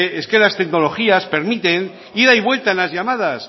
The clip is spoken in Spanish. es que las tecnologías permiten ida y vuelta en las llamadas